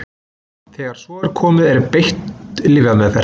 Þegar svo er komið er beitt lyfjameðferð.